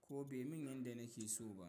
ko bai min yadda nake so ba.